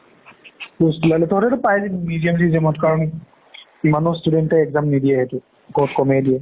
post উলালে তহতেতো পায়ে জাবি BGM চি জি য়াম ত ইমানও student তে exam নিদিয়ে সেইটোত বহুত ক'মে দিয়ে